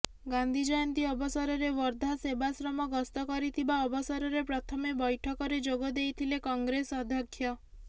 ଗାନ୍ଧୀ ଜୟନ୍ତୀ ଅବସରରେ ୱର୍ଧା ସେବାଶ୍ରମ ଗସ୍ତ କରିଥିବା ଅବସରରେ ପ୍ରଥମେ ବୈଠକରେ ଯୋଗ ଦେଇଥିଲେ କଂଗ୍ରେସ ଅଧ୍ୟକ୍ଷ